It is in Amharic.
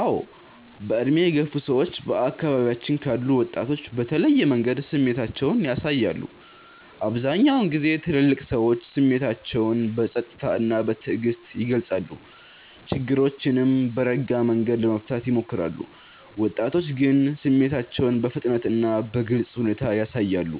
አዎ። በዕድሜ የገፉ ሰዎች በአካባቢያችን ካሉ ወጣቶች በተለየ መንገድ ስሜታቸውን ያሳያሉ። አብዛኛውን ጊዜ ትልልቅ ሰዎች ስሜታቸውን በጸጥታ እና በትዕግስት ይገልጻሉ፣ ችግሮችንም በረጋ መንገድ ለመፍታት ይሞክራሉ። ወጣቶች ግን ስሜታቸውን በፍጥነት እና በግልጽ ሁኔታ ያሳያሉ፣